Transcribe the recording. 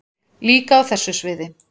Líka á þessu sviði.